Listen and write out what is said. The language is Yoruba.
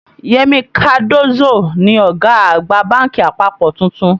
Yemi Cardozo ni ọ̀gá àgbà bánkì àpapọ̀ tuntun